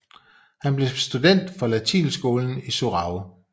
Han blev student fra latinskolen i Sorau